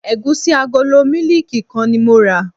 Ẹ̀gúsí agolo mílíìkì kan ni mo rà.